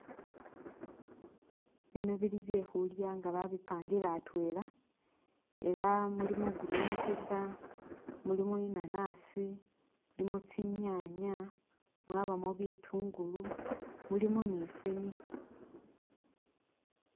Bino bili byekhulya nga babipangile atwela, era mulimo green paper, mulimo inanasi, mulimo tsinyanya, mwabamo bitungulu, mulimo ni fene.